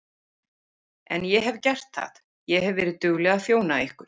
En ég hef gert það, ég hef verið dugleg að þjóna ykkur.